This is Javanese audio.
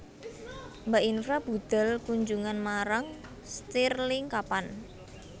Mbak Infra budhal kunjungan marang stirling kapan